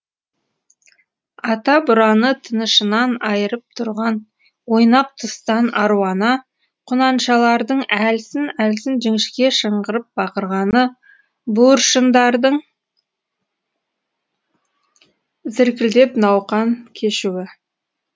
ата бураны тынышынан айырып тұрған ойнақ тұстан аруана құнаншалардың әлсін әлсін жіңішке шыңғырып бақырғаны буыршындардың зіркілдеп науқан кешуі